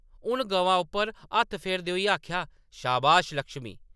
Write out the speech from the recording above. उन गवा उप्पर हत्थ फेरदे होई आखेआ, “शाबाश लक्ष्मी।